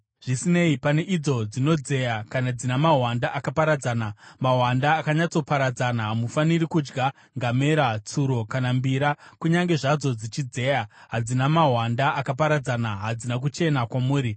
Zvisinei, pane idzo dzinodzeya kana dzina mahwanda akaparadzana, mahwanda akanyatsoparadzana, hamufaniri kudya ngamera, tsuro kana mbira. Kunyange zvazvo dzichidzeya hadzina mahwanda akaparadzana; hadzina kuchena kwamuri.